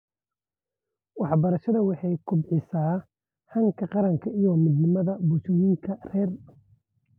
Waxbarashadu waxay kobcisaa hanka qaranka iyo midnimada bulshooyinka rer .